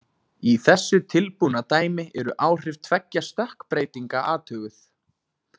Í þessu tilbúna dæmi eru áhrif tveggja stökkbreytinga athuguð.